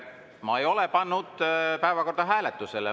Ma ei ole pannud päevakorda hääletusele.